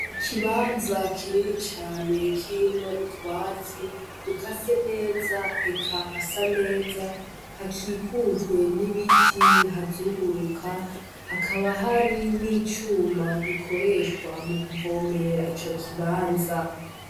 Ikibanza kinini cane kirimwo utwatsi dukase neza eka hasa neza hakikujwe n’ibiti bihazunguruka, hakaba hari n’icuma gikorehwa mukuvomera ico kibanza.